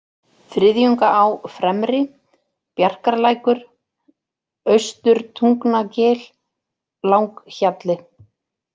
Þriðjungaá-fremri, Bjarkarlækur, Austurtungnagil, Langhjalli